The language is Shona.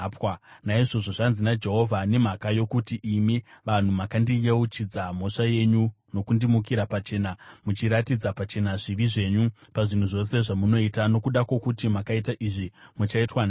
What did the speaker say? “Naizvozvo zvanzi naJehovha, ‘Nemhaka yokuti imi vanhu makandiyeuchidza mhosva yenyu nokundimukira pachena, muchiratidza pachena zvivi zvenyu pazvinhu zvose zvamunoita, nokuda kwokuti makaita izvi, muchaitwa nhapwa.